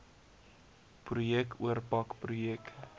projek oorpak projek